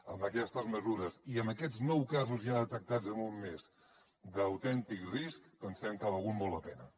amb aquestes mesures i amb aquests nou casos ja detectats en un mes d’autèntic risc pensem que ha valgut molt la pena